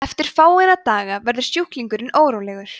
eftir fáeina daga verður sjúklingurinn órólegur